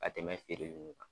Ka tɛmɛ feereli nunnu kan.